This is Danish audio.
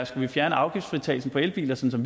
skal fjerne afgiftsfritagelsen på elbiler sådan